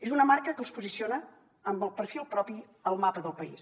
és una marca que els posiciona amb el perfil propi al mapa del país